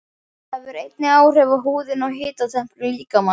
Það hefur einnig áhrif á húðina og hitatemprun líkamans.